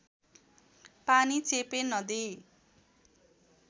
पानी चेपे नदी